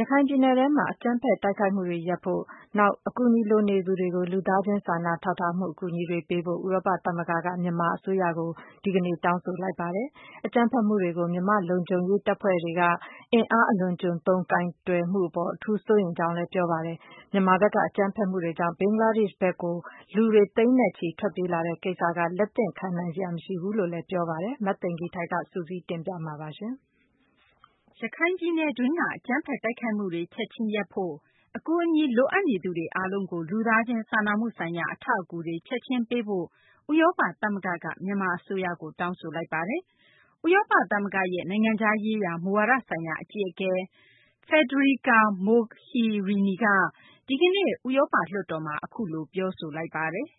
ရခိုင်ပြည်နယ်တွင်းက အကြမ်းဖက် တိုက်ခိုက်မှုတွေ ရပ်ဖို့၊ နောက် အကူအညီ လိုအပ်နေသူတွေကို လူသားချင်း စာနာထောက်ထားမှု ဆိုင်ရာ အကူအညီတွေ ပေးဖို့ ဥရောပ သမဂ္ဂက မြန်မာ အစိုးရကို ဒီကနေ့ တောင်းဆိုလိုက်ပါတယ်။ အကြမ်းဖက်မှုတွေကို မြန်မာ လုံခြုံရေး တပ်ဖွဲ့တွေက အင်အား အလွန်အကျွံသုံး ကိုင်တွယ်မှု အပေါ် အထူးဘဲ စိုးရိမ်တယ်လို့လည်း ပြောဆိုလိုက်ပါတယ်။ မြန်မာဘက်က အကြမ်းဖက်မှုတွေကြောင့် ဘင်္ဂလားဒေရှ့်ဘက်ကို လူသိန်းနဲ့ချီ ထွက်ပြေးလာရတဲ့ ကိစ္စက လက်သင့်ခံနိုင်စရာ မရှိဘူးလို့ ပြောဆိုလိုက်ပါတယ်။ မသိင်္ဂ ီထိုက် စုစည်းတင်ပြမှာပါ။ ရခိုင်ပြည်နယ်တွင်းက အကြမ်းဖက် တိုက်ခိုက်မှုတွေ ချက်ချင်း ရပ်ဖို့၊ အကူအညီလိုအပ်နေသူတွေ အားလုံးကို လူသားချင်း စာနာမှု ဆိုင်ရာ အထောက်အကူတွေ ချက်ချင်းပေးဖို့လည်း ဥရောပ သမဂ္ဂက မြန်မာ အစိုးရကို တောင်းဆိုလိုက်ပါတယ်။ ဥရောပ သမဂ္ဂရဲ့ နိုင်ငံခြားရေးရာ မူဝါဒဆိုင်ရာ အကြီးအကဲ Federica Mogherini က ဒီကနေ့ ဥရောပ လွှတ်တော်မှာ အခုလို ပြောကြားခဲ့ပါတယ်။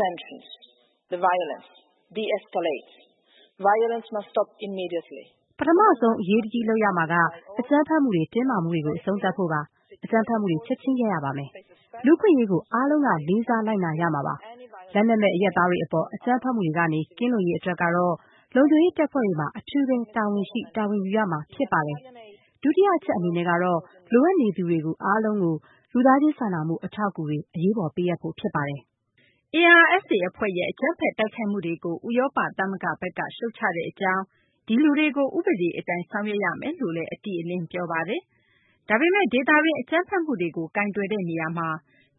"ပထမဆုံး ချက်ချင်း အရေးတကြီး လုပ်ရမှာက အကြမ်းဖက်မှုတွေ၊ တင်းမာမှုတွေကို အဆုံးသတ်ဖို့ပါ။ အကြမ်းဖက်မှုတွေ ချက်ချင်း ရပ်ရပါမယ်။ လူ့အခွင့်အရေးကို အားလုံးက လေးစား လိုက်နာရပါမယ်။ လက်နက်မဲ့ အရပ်သားတွေ အပေါ် အကြမ်းဖက်မှုတွေကနေ ကင်းလွတ်ရေး အတွက်ကတော့ လုံခြုံရေး တပ်ဖွဲ့တွေမှာ အထူးဘဲ တာဝန်ရှိ တာဝန်ယူရမှာ ဖြစ်ပါတယ်။ဒုတိယ အချက် အနေနဲ့ကတော့ လိုအပ်နေသူတွေ အားလုံးကို လူသားချင်း စာနာမှု အထောက်အကူတွေ အရေးပေါ် ပေးအပ်ဖို့ ဖြစ်ပါတယ်။" ARSA အဖွဲ့ရဲ့ အကြမ်းဖက် တိုက်ခိုက်မှုတွေကို ဥရောပ သမဂ္ဂ ဘက်က ရှုတ်ချကြောင်းလည်း ဒီလူတွေကို ဥပဒေ အတိုင်းဆောင်ရွက်ရမယ်လို့ အတိအလင်း ပြောကြားပါတယ်။ ဒါပေမယ့် ဒေသတွင်း အကြမ်းဖက်မှုတွေကို ကိုင်တွယ်တဲ့ နေရာမှာ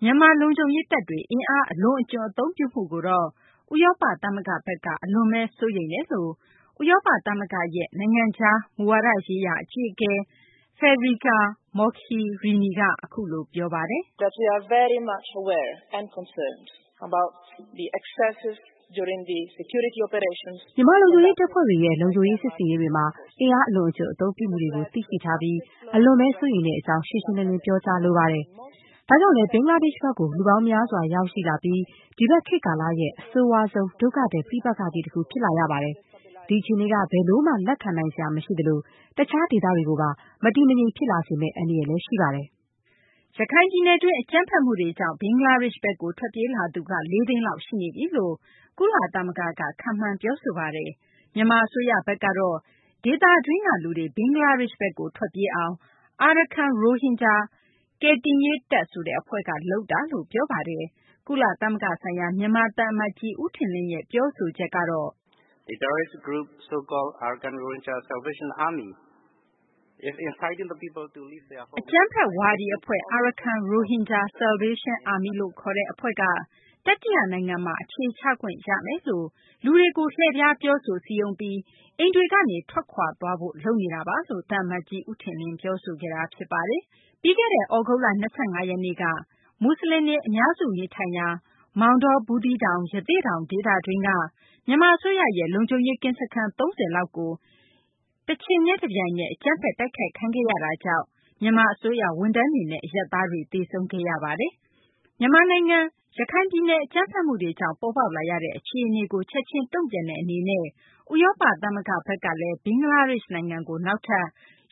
မြန်မာ လုံခြုံရေး တပ်တွေ အင်အားအလွန်အကျွံ့ အသုံးပြုမှုကိုတော့ ဥရောပ သမဂ္ဂဘက်က အလွန်ဘဲ စိုးရိမ်တယ်လို့ ဥရောပ သမဂ္ဂရဲ့ နိုင်ငံခြား မူဝါဒရေးရာ အကြီးအကဲ Federica Mogherini က ပြောဆိုပါတယ်။ "မြန်မာလုံခြုံရေး တပ်ဖွဲ့တွေရဲ့ လုံခြုံရေး စစ်ဆင်ရေးတွေမှာ အင်အားအလွန်အကျွံ့ အသုံးပြုမှုတွေကို သိရှိထားပြီး အလွန်ဘဲ စိုးရိမ်တဲ့ အကြောင်း ရှင်းရှင်းလင်းလင်း ပြောကြားလိုပါတယ်။ ဒါကြောင့်လည်း ဘင်္ဂလားဒေရှ့်ဘက်ကို လူပေါင်းများစွာ ရောက်ရှိလာပြီး ဒီဘက် ခေတ်ကာလရဲ့ အဆိုးရွားဆုံး ဒုက္ခသည် ပဋိပက္ခကြီး တခု ဖြစ်လာရပါတယ်။ ဒီအခြေအနေက ဘယ်လိုမှ လက်ခံနိုင်စရာ မရှိသလို တခြား ဒေသတွေကိုပါ မတည်မငြိမ် ဖြစ်လာမယ့် အန္တရာယ်လည်း ရှိပါတယ်။" ရခိုင်ပြည်နယ်တွင်း အကြမ်းဖက်မှုတွေကြောင့် ဘင်္ဂလားဒေရှ့်ဘက်ကို ထွက်ပြေးလာသူက ၄ သိန်းလောက် ရှိနေပြီလို့ ကုလသမဂ္ဂဘက်က ခန့်မှန်း ပြောဆိုထားတာပါ။ မြန်မာ အစိုးရဘက်ကတော့ ဒေသတွင်းက လူတွေ ဘင်္ဂလားဒေရှ့်ဘက်ကို ထွက်ပြေးအောင် အာရကန် ရိုဟင်ဂျာ ကယ်တင်ရေးတပ် ဆိုတဲ့ အဖွဲ့က လုပ်တာလို့ ပြောပါတယ်။ ကုလသမဂ္ဂ ဆိုင်ရာ မြန်မာ သံအမတ်ကြီး ဦးထင်လင်းရဲ့ ပြောဆိုချက်ကတော့ "အကြမ်းဖက် ဝါဒီ အဖွဲ့ Arkhan Rohingya Salvation Army လို့ ခေါ်တဲ့ အဖွဲ့က တတိယ နိုင်ငံမှာ အခြေချခွင့် ရမယ်လို့ လူတွေကို လှည့်ဖျား ပြောဆိုစည်းရုံးပြီး အိမ်တွေကနေ ထွက်ခွာသွားစေဖို့ လုပ်နေတာပါ။" လို့ သံအမတ်ကြီး ဦးထင်လင်းက ပြောဆိုပါတယ်။ ပြီးခဲ့တဲ့ သြဂုတ်လ ၂၅ ရက်နေ့က ရခိုင်ပြည်နယ် မူဆလင်တွေ အများစု နေထိုင်ရာ မောင်တော၊ ဘူးသီးတောင်၊ ရသေ့တောင် ဒေသတွင်းက မြန်မာ အစိုးရရဲ့ လုံခြုံရေး ကင်းစခန်း ၃၀ လောက်ကို တချိန်တည်း တပြိုင်တည်း အကြမ်းဖက် တိုက်ခိုက်ခံရတာကြောင့် မြန်မာ အစိုးရ ဝန်ထမ်းတွေနဲ့ အရပ်သားတွေ သေဆုံးခဲ့ရပါတယ်။ မြန်မာနိုင်ငံ ရခိုင်ပြည်နယ် အကြမ်းဖက်မှုတွေကြောင့် ပေါ်ပေါက်လာတဲ့ အခြေအနေကို ချက်ချင်း တုံ့ပြန်မှု အဖြစ်နဲ့ ဥရောပ သမဂ္ဂဘက်က ဘင်္ဂလားဒေရှ့် နိုင်ငံကို နောက်ထပ်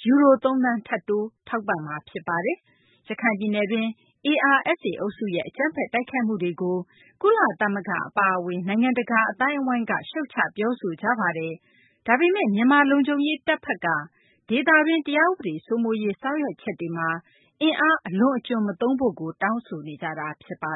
ယူရို ၃ သန်း ထပ်တိုးပေးမှာ ဖြစ်ပါတယ်။ ရခိုင်ပြည်နယ်တွင်း ARSA အုပ်စုရဲ့ အကြမ်းဖက် တိုက်ခိုက်မှုတွေကို ကုလသမဂ္ဂ အပါအဝင် နိုင်ငံတကာ အသိုင်းအဝိုင်းက ရှုတ်ချ ပြောဆိုကြတာပါ။ ဒါပေမယ့် မြန်မာ လုံခြုံရေး တပ်ဘက်က ဒေသတွင်း တရားဥပဒေ စိုးမိုးရေး ဆောင်ရွက်ချက်တွေမှာ အင်အား အလွန်အကျွံ့မသုံးဖို့ တောင်းဆိုနေကြတာ ဖြစ်ပါ